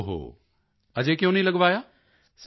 ਓਹੋ ਅਜੇ ਕਿਉਂ ਨਹੀਂ ਲਗਵਾਇਆ